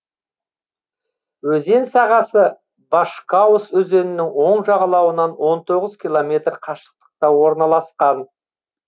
өзен сағасы башкаус өзенінің оң жағалауынан он тоғыз километр қашықтықта орналасқан